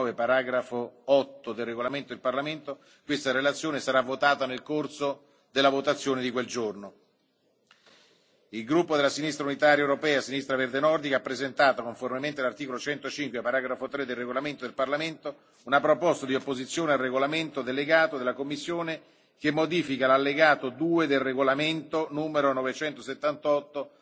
all'articolo 9, paragrafo 8, del regolamento del Parlamento, questa relazione sarà votata nel corso della votazione di giovedì Il gruppo della Sinistra unitaria europea Sinistra verde nordica ha presentato, conformemente all'articolo 105, paragrafo 3, del regolamento del Parlamento, una proposta di opposizione al regolamento delegato della Commissione che modifica l'allegato II del regolamento n. 978